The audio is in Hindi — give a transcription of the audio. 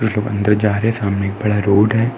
दो बन्दे जा रहे हैं। सामने एक बड़ा रोड है।